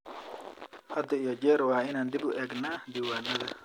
Had iyo jeer waa inaan dib u eegnaa diiwaanada.